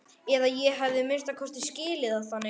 Eða ég hef að minnsta kosti skilið það þannig.